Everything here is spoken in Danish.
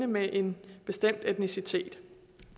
med en bestemt etnicitet